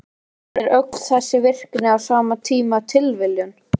En er öll þessi virkni á sama tíma tilviljun?